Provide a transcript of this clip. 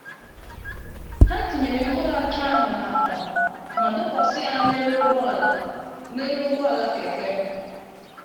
Ha tinyere mkpụrụ acha ahụ n'akpa ma dọkwasị ya n'elu ụgbọ ala n'elu ụgbọ ala keke.